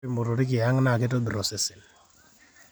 ore imotorik e ang naa keitobirr osesen